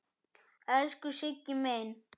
Elsku Siggi minn.